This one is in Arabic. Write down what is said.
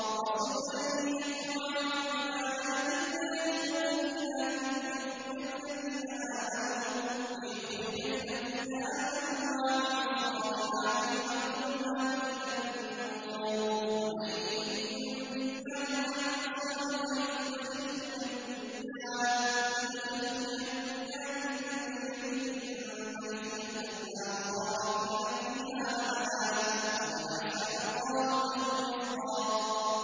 رَّسُولًا يَتْلُو عَلَيْكُمْ آيَاتِ اللَّهِ مُبَيِّنَاتٍ لِّيُخْرِجَ الَّذِينَ آمَنُوا وَعَمِلُوا الصَّالِحَاتِ مِنَ الظُّلُمَاتِ إِلَى النُّورِ ۚ وَمَن يُؤْمِن بِاللَّهِ وَيَعْمَلْ صَالِحًا يُدْخِلْهُ جَنَّاتٍ تَجْرِي مِن تَحْتِهَا الْأَنْهَارُ خَالِدِينَ فِيهَا أَبَدًا ۖ قَدْ أَحْسَنَ اللَّهُ لَهُ رِزْقًا